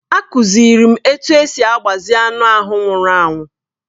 A kụziiri m otú e si agbazi anụ ahụ nwụrụ anwụ.